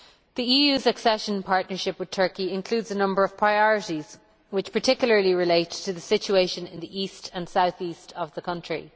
The EU's accession partnership with Turkey includes a number of priorities which particularly relate to the situation in the East and South East of the country.